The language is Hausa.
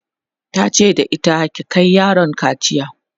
tace da ita "ki Kai yaron kaciya!'